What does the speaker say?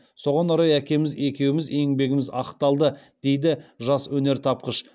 соған орай әкеміз екеуміз еңбегіміз ақталды дейді жас өнертапқыш